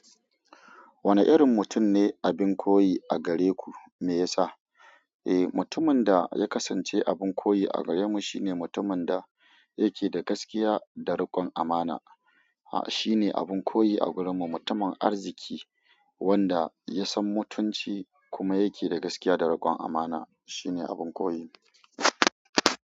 Wane irin mutum ne abin koyi a gare ku? Me yasa? Eh, mutumin da ya kasance abin koyi a gare mu shine mutumin da yake da gaskiya da rikon amana. Ha, shine abin koyi a gurin mu. Mutumin arziki wanda ya san mutunci kuma yake da gaskiya da rikon amana shine abin koyi.